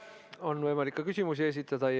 On võimalik küsimusi esitada.